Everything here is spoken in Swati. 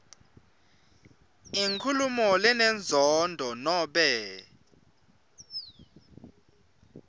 inkhulumo lenenzondo nobe